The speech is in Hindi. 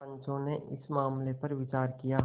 पंचो ने इस मामले पर विचार किया